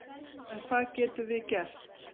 Já en hvað getum við gert?